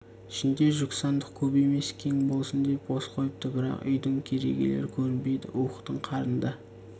ішінде жүк сандық көп емес кең болсын деп бос қойыпты бірақ үйдің керегелері көрінбейді уықтың қарына